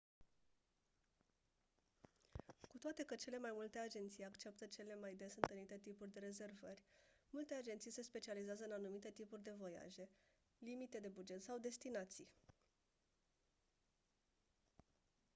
cu toate că cele mai multe agenții acceptă cele mai des întâlnite tipuri de rezervări multe agenții se specializează în anumite tipuri de voiaje limite de buget sau destinații